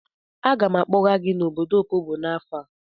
Aga m akpọga gị n'obodo Opobo n'afọ a.